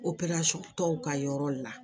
tɔw ka yɔrɔ la